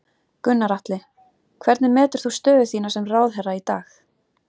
Gunnar Atli: Hvernig metur þú stöðu þína sem ráðherra í dag?